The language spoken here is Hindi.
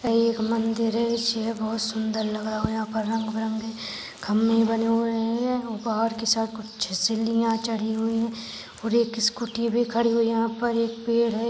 ये एक मंदिर है ये बहुत सुंदर लग रहा है यहाँ पर रंग बिरंगे खंबे बने हुए है ये बाहर की साइड कुछ सिडिया चढ़ी हुई है और एक स्कूटी भी खड़ी हुई है यहाँ पर एक पेड़ है।